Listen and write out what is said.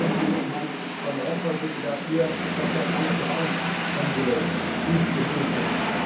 Sorgen Sie mit Herrn Van Rompuy bitte dafür, dass dort alle drei envelopes gut gefüllt sind.